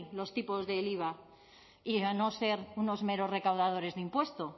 los tipos del iva y no ser unos meros recaudadores de impuestos